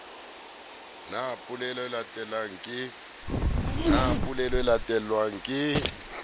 na polelo e latelang ke